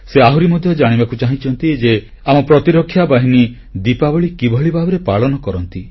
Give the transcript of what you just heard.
ସେ ଆହୁରି ମଧ୍ୟ ଜାଣିବାକୁ ଚାହିଁଛନ୍ତି ଯେ ଆମ ପ୍ରତିରକ୍ଷା ବାହିନୀ ଦୀପାବଳୀ କିଭଳି ଭାବରେ ପାଳନ କରନ୍ତି